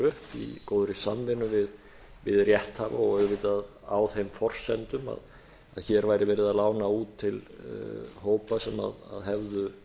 upp í góðri samvinnu við rétthafa og auðvitað á þeim forsendum að hér væri verið að lána út til hópa sem hefðu